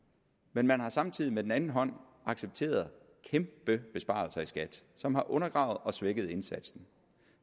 men man har samtidig med den anden hånd accepteret kæmpebesparelser i skat som har undergravet og svækket indsatsen